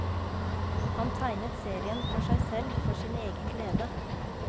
Han tegnet serien for seg selv, for sin egen glede.